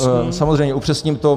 Samozřejmě, upřesním to.